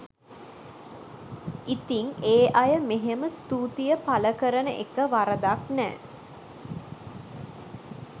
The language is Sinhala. ඉතිං ඒ අය මෙහෙම ස්තුතිය පළ කරන එක වරදක් නෑ